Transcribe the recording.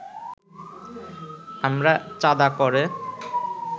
আমরা চাঁদা ক’রে